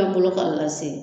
Ta bolo ko a ka se.